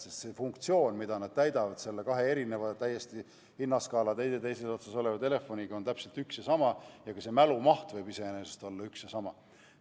Sest see funktsioon, mida nad täidavad, need kaks erinevat, hinnaskaala ühes ja täiesti teises otsas olev telefon, on täpselt üks ja sama, ka mälumaht võib iseenesest olla üks ja sama.